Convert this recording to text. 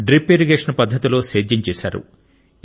drip irrigation పద్ధతిలో సేద్యం చేశారు